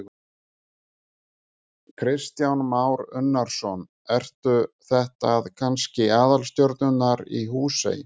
Kristján Már Unnarsson: Eru þetta kannski aðalstjörnunnar í Húsey?